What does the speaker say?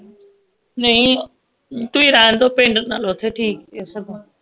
ਨਹੀਂ ਤੁਸੀਂ ਪਿੰਡ ਓਥੇ ਠੀਕ ਸੀ ਸਗੋਂ